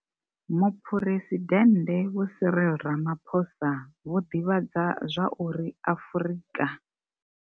Muphuresidennde vho Cyril Ramaphosa vho ḓivhadza zwa uri Afrika.